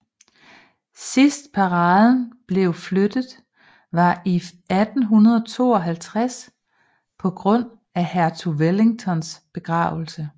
Sidst paraden blev flyttet var i 1852 på grund af hertugen af Wellingtons begravelse